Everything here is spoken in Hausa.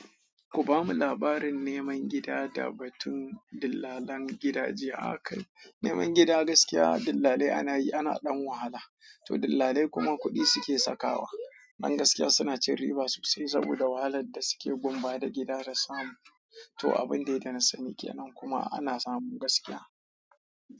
Ku bamu labarin neman gida da batun dillalan gidaje akai. Neman gida gaskiya dillalai ana yi, ana ɗan wahala. To dillalai kuma kuɗi suke sakawa. Dan gaskiya suna cin riba sosai saboda wahalar da suke gun ba da gida da samu. To abun dai da na sani kenan kuma ana samu gaskiya.